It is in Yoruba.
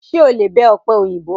Ṣé o lè bẹ ọ̀pẹ òyìnbó?